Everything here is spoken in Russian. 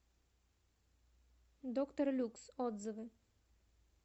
доктор люкс отзывы